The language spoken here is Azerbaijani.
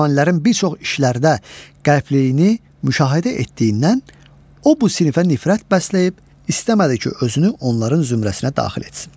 Ruhanilərin bir çox işlərdə qəbliyini müşahidə etdiyindən o bu sinifə nifrət bəsləyib istəmədi ki, özünü onların zümrəsinə daxil etsin.